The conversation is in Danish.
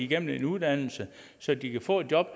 gennem en uddannelse så de kan få et job